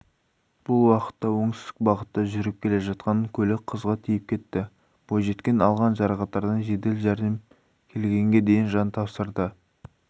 бұл уақытта оңтүстік бағытта жүріп келе жатқан көлік қызға тиіп кетті бойжеткен алған жарақаттардан жедел жәрдем келгенге дейін жан тапсырды